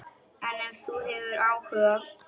En ef þú hefur áhuga.